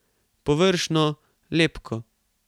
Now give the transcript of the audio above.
Površno, lepko.